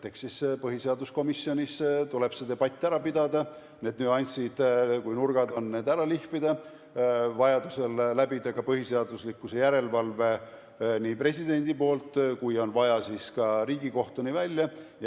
Eks siis põhiseaduskomisjonis tuleb see debatt ära pidada, need nüansid, ja kui on mingid nurgad, siis need ära lihvida, vajaduse korral läbida ka põhiseaduslikkuse järelevalve, otsustada presidendil ja kui on vaja, siis ka Riigikohtuni välja.